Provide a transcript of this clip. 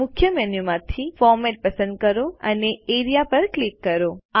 મુખ્ય મેનુ માંથી ફોર્મેટ પસંદ કરો અને એઆરઇએ પર ક્લિક કરો